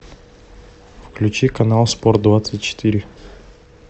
включи канал спорт двадцать четыре